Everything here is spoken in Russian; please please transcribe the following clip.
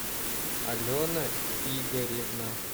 алена игоревна